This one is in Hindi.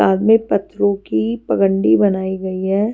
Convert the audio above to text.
बाग में पत्थरों की पगंडी बनाई गई है।